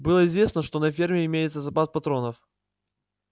было известно что на ферме имеется запас патронов